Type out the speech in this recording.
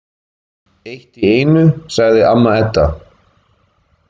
Eitt í einu, sagði amma Edda.